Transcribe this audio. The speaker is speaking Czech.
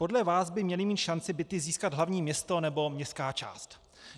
Podle vás by mělo mít šanci byty získat hlavní město nebo městská část.